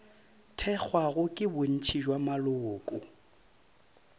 thekgwago ke bontši bja maloko